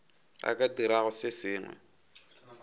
a ka dirago se sengwe